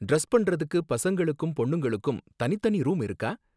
Dress பண்றதுக்கு பசங்களுக்கும் பொண்ணுங்களுக்கும் தனித்தனி ரூம் இருக்கா?